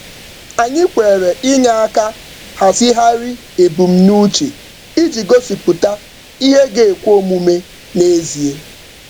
Anyị kwere inye aka um hazigharị ebumnuche iji gosipụta ihe ga-ekwe omume um n’ezie.